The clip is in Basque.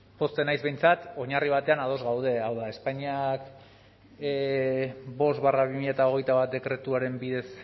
pozten naiz behintzat oinarri batean ados gaude hau da espainiak bost barra bi mila hogeita bat dekretuaren bidez